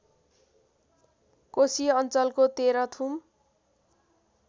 कोशी अञ्चलको तेह्रथुम